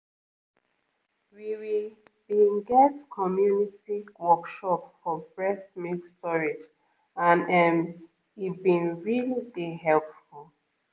we we been get community workshop for breast milk storage and ehm e been really dey helpful